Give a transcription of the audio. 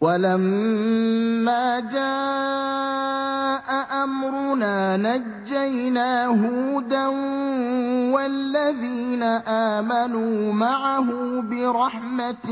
وَلَمَّا جَاءَ أَمْرُنَا نَجَّيْنَا هُودًا وَالَّذِينَ آمَنُوا مَعَهُ بِرَحْمَةٍ